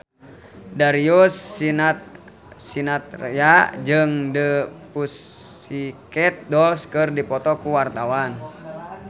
Darius Sinathrya jeung The Pussycat Dolls keur dipoto ku wartawan